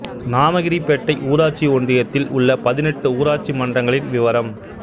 நாமகிரிப்பேட்டை ஊராட்சி ஒன்றியத்தில் உள்ள பதினெட்டு ஊராட்சி மன்றங்களின் விவரம்